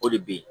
O de bɛ yen